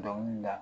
Dɔnkili da